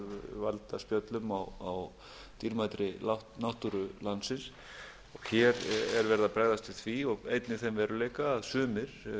valda spjöllum á dýrmætri náttúru landsins hér er verið að bregðast við því og einnig þeim veruleika að sumir